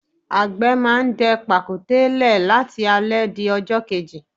Agbe máa ń dẹ pàkúté le láti alẹ di ọjọ́ kejì.